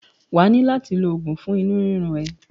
Wà á ní láti lo oògun fún inú rírun ẹ.